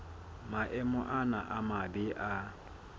maemo ana a mabe a